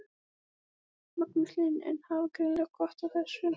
Magnús Hlynur: En hafa greinilega gott af þessu?